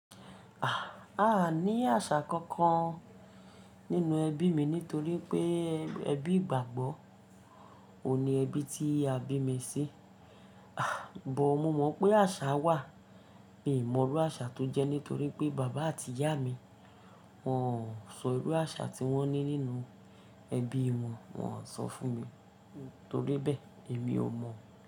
A ní àṣà kankan nínú ẹbí mi nítorí pé ẹbí ìgbàgbọ́ òun ní ẹbí tí a bí mi sí. But mo mọ̀ pé àṣà wà, èmi ò mọ̀rú àṣà tó jẹ́ nítorí pé bàbá àti ìyá mi, wọ́n ò sọ ìrú àṣà tí wọ́n ní nínú ẹbí wọn, wọ́n ò sọ fún mi. Nítorí bẹ́ẹ̀ èmi ò mọ̀